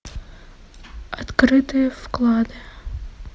открытые вклады